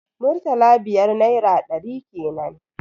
Murtala biyar naira ɗari kenan